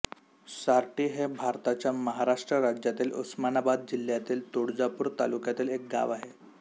सारटी हे भारताच्या महाराष्ट्र राज्यातील उस्मानाबाद जिल्ह्यातील तुळजापूर तालुक्यातील एक गाव आहे